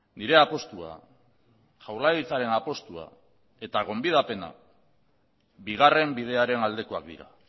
nire apustua da jaurlaritzaren apustua da eta gonbidapena bigarren bidearen aldekoak dira